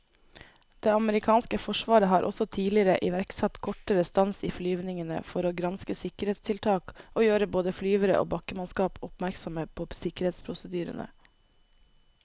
Det amerikanske forsvaret har også tidligere iverksatt kortere stans i flyvningene for å granske sikkerhetstiltak og gjøre både flyvere og bakkemannskap oppmerksomme på sikkerhetsprosedyrene.